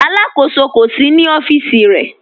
Alákọsọ kò sí ní ọfiíṣì rẹ̀.